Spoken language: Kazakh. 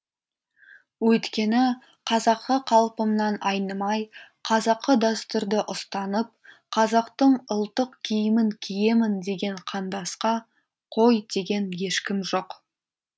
өйткені қазақы қалпымнан айнымай қазақы дәстүрді ұстанып қазақтың ұлттық киімін киемін деген қандасқа қой деген ешкім жоқ